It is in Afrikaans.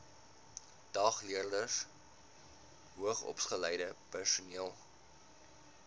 dagleerders hoogsopgeleide personeel